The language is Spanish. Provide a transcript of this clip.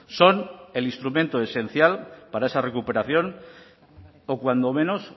son el instrumento esencial para esa recuperación o cuando menos